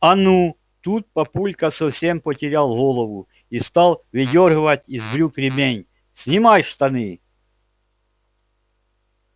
а ну тут папулька совсем потерял голову и стал выдёргивать из брюк ремень снимай штаны